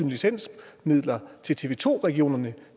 licensmidler til tv to regionerne